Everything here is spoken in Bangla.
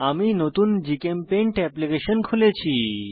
আমি নতুন জিচেমপেইন্ট এপ্লিকেশন খুলেছি